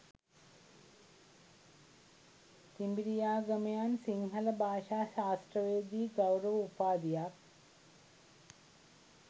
තිඹිරියාගමයන් සිංහල භාෂා ශාස්ත්‍රවේදී ගෞරව උපාධියක්